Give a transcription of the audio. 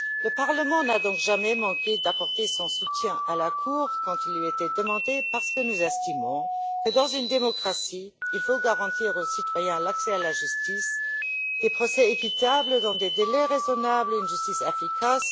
Le Parlement n'a donc jamais manqué d'apporter son soutien à la Cour quand on le lui demandait, parce que nous estimons que dans une démocratie, il faut garantir aux citoyens l'accès à la justice, des procès équitables dans des délais raisonnables et une justice efficace.